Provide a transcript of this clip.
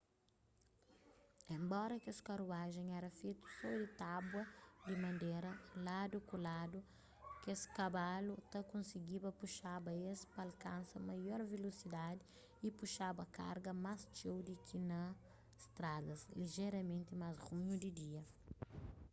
enbora kes karuajen éra fetu so di tábua di madera ladu-ku-ladu keskabalu ta konsigiba puxaba es pa alkansa maior vilosidadi y puxaba kargas más txeu di ki na stradas lijeramenti más runhu di dia